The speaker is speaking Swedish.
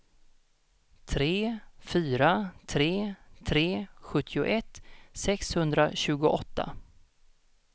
tre fyra tre tre sjuttioett sexhundratjugoåtta